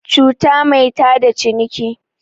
cuta mai tada ciniki